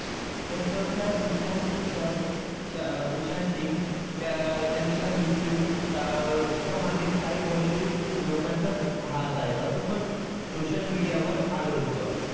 तसं त्या सुशांत सिंग सुशांत सिंग त्या त्यांचा मृत्यू त्यामागे काही bollywood लोकांचाच हात आहे असं पण social media वर आलं होतं.